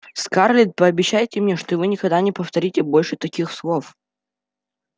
скарлетт пообещайте мне что вы никогда не повторите больше таких слов